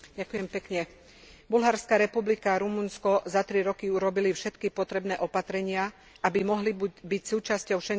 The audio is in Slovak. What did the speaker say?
Bulharská republika a Rumunsko za 3 roky urobili všetky potrebné opatrenia, aby mohli byť súčasťou Schengenského priestoru.